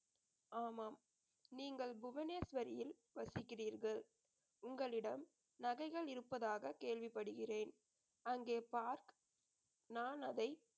ஆமாம் நீங்கள் புவனேஸ்வரியில் வசிக்கிறீர்கள் உங்களிடம் நகைகள் இருப்பதாக கேள்விப்படுகிறேன் அங்கே பார்க்~ நான் அதை